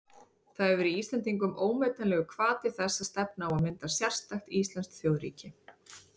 Það hefur verið Íslendingum ómetanlegur hvati þess að stefna á að mynda sérstakt íslenskt þjóðríki.